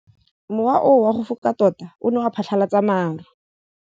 Mowa o wa go foka tota o ne wa phatlalatsa maru.